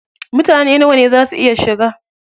Mutane nawa ne za su iya shiga?